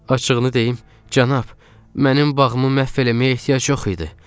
"Açıqını deyim, cənab, mənim bağımı məhv eləməyə ehtiyac yox idi."